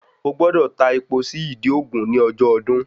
O gbọ́dọ̀ ta epo sí ìdí ògún ní ọjọ́ ọdún